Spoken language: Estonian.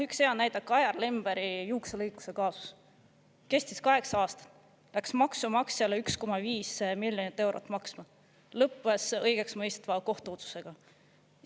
Üks hea näide on Kajar Lemberi juukselõikuse kaasus, mis kestis kaheksa aastat, läks maksumaksjale 1,5 miljonit eurot maksma ja lõppes õigeksmõistva kohtuotsusega.